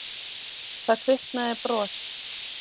Það kviknaði bros.